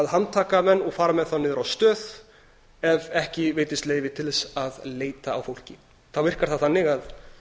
handtaka menn og fara með þá niður á stöð ef ekki veitisti leyfi til þess að leita á fólki þá virkar það þannig að